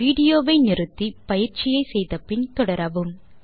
video வை நிறுத்தி பயிற்சியை செய்து முடித்து பின் தொடரவும்